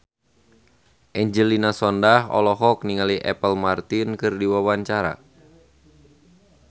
Angelina Sondakh olohok ningali Apple Martin keur diwawancara